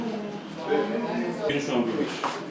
Verirsən, verirsən, götürürsən, verirsən.